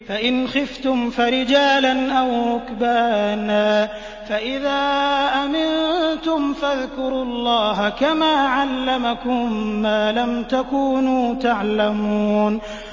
فَإِنْ خِفْتُمْ فَرِجَالًا أَوْ رُكْبَانًا ۖ فَإِذَا أَمِنتُمْ فَاذْكُرُوا اللَّهَ كَمَا عَلَّمَكُم مَّا لَمْ تَكُونُوا تَعْلَمُونَ